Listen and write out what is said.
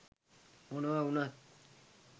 මොනව උනත්